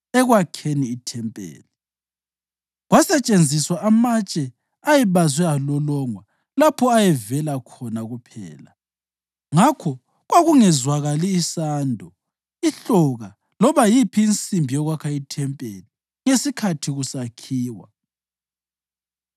Ekwakheni ithempeli, kwasetshenziswa amatshe ayebazwe alolongwa lapho ayevela khona kuphela, ngakho kwakungezwakali sando, ihloka loba yiphi insimbi yokwakha ethempelini ngesikhathi kusakhiwa.